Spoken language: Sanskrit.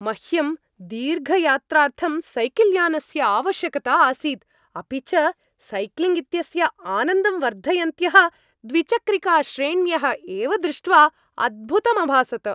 मह्यं दीर्घयात्रार्थं सैकल्यानस्य आवश्यकता आसीत्, अपि च सैक्लिङ्ग् इत्यस्य आनन्दं वर्धयन्त्यः द्विचक्रिकाश्रेण्यः एव दृष्ट्वा अद्भुतमभासत।